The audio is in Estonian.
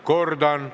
Kordan.